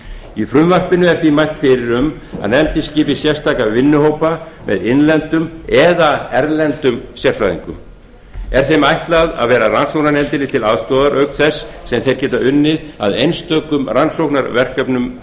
í frumvarpinu er því mælt fyrir um að nefndin skipi sérstaka vinnuhópa með innlendum eða erlendum sérfræðingum er þeim ætlað að vera rannsóknarnefndinni til aðstoðar auk þess sem þeir geta unnið að einstökum rannsóknarverkefnum